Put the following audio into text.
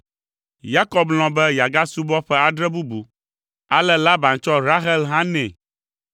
Yakob lɔ̃ be yeagasubɔ ƒe adre bubu, ale Laban tsɔ Rahel hã nɛ.